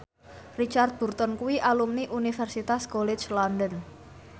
Richard Burton kuwi alumni Universitas College London